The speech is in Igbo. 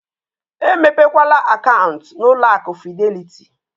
Emepekwala akaụntụ na ụlọ akụ fidelịtị!